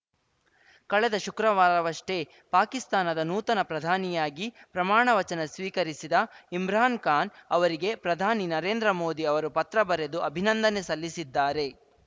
ಕಳೆದ ಶುಕ್ರವಾರವಷ್ಟೇ ಪಾಕಿಸ್ತಾನದ ನೂತನ ಪ್ರಧಾನಿಯಾಗಿ ಪ್ರಮಾಣ ವಚನ ಸ್ವೀಕರಿಸಿದ ಇಮ್ರಾನ್‌ ಖಾನ್‌ ಅವರಿಗೆ ಪ್ರಧಾನಿ ನರೇಂದ್ರ ಮೋದಿ ಅವರು ಪತ್ರ ಬರೆದು ಅಭಿನಂದನೆ ಸಲ್ಲಿಸಿದ್ದಾರೆ